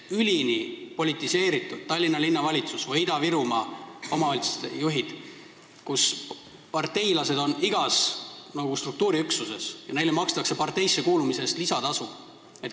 Tallinna Linnavalitsus ja Ida-Virumaa omavalitsused on üleni politiseeritud, parteilased on seal igas struktuuriüksuses ja neile makstakse parteisse kuulumise eest lisatasu.